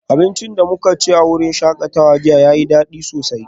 Abincin da muka ci a wurin shakatawa jiya yayi dadi sosai